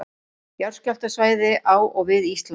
Jarðskjálftasvæði á og við Ísland.